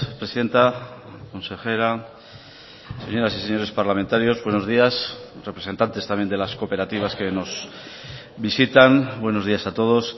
presidenta consejera señoras y señores parlamentarios buenos días representantes también de las cooperativas que nos visitan buenos días a todos